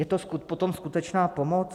Je to potom skutečná pomoc?